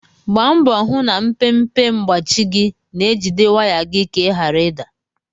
Gbaa mbọ hụ na mpempe mgbachi gị na-ejide waya gị ka ị ghara ị da.